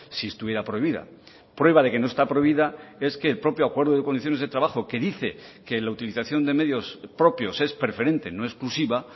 si estuviera prohibida prueba de que no está prohibida es que el propio acuerdo de condiciones de trabajo que dice que la utilización de medios propios es preferente no exclusiva